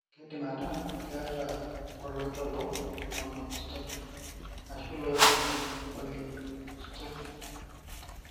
Keidim ataa keeta iloito obo (monostotic) ashu iloik kumok (polyostotic).